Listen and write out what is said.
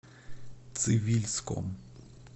цивильском